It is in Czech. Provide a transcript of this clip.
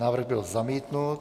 Návrh byl zamítnut.